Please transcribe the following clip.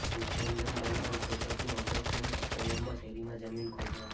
નિસ્યંદન bulb ક્રોકસની August અને સપ્ટેમ્બરમાં શેરીમાં જમીન ખોદવામાં